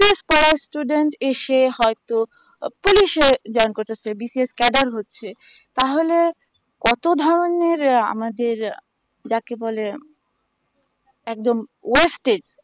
পড়া students এসে হয়তো police এ join করতেসে বিশেষ হচ্ছে তাহলে কতো ধানের আমাদের যাকে বলে একদম wested